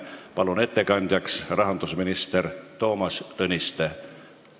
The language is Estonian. Palun ettekandjaks rahandusminister Toomas Tõniste!